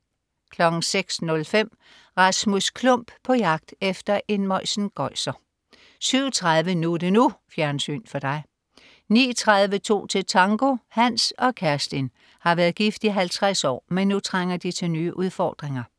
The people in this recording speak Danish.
06.05 Rasmus Klump på jagt efter en møjsengøjser 07.30 NU er det NU. Fjernsyn for dig 09.30 To til tango. Hans og Kerstin har været gift i 50 år, men nu trænger de til nye udfordringer